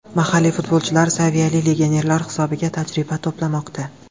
Mahalliy futbolchilar saviyali legionerlar hisobiga tajriba to‘plamoqda.